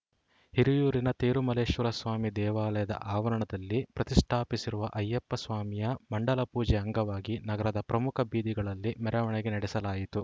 ಹಿರಿಯೂರಿನ ತೇರುಮಲ್ಲೇಶ್ವರಸ್ವಾಮಿ ದೇವಾಲಯದ ಆವರಣದಲ್ಲಿ ಪ್ರತಿಷ್ಠಾಪಿಸಿರುವ ಅಯ್ಯಪ್ಪಸ್ವಾಮಿಯ ಮಂಡಲ ಪೂಜೆ ಅಂಗವಾಗಿ ನಗರದ ಪ್ರಮುಖ ಬೀದಿಗಳಲ್ಲಿ ಮೆರವಣಿಗೆ ನಡೆಸಲಾಯಿತು